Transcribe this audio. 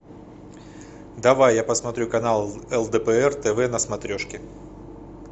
давай я посмотрю канал лдпр тв на смотрешке